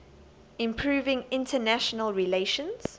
improving international relations